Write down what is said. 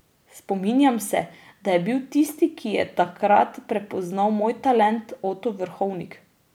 Spominjam se, da je bil tisti, ki je takrat prepoznal moj talent, Oto Vrhovnik.